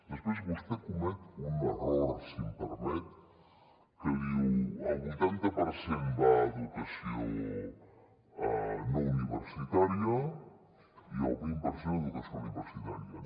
després vostè comet un error si m’ho permet que diu el vuitanta per cent va a educació no universitària i el vint per cent a educació universitària